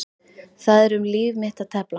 Það er um líf mitt að tefla.